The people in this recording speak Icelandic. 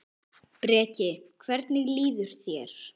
Breki: Hvernig líður þér?